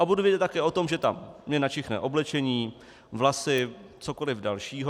A budu vědět také o tom, že mi tam načichne oblečení, vlasy, cokoliv dalšího.